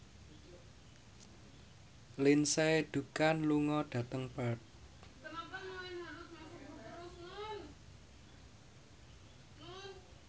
Lindsay Ducan lunga dhateng Perth